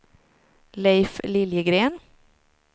Leif Liljegren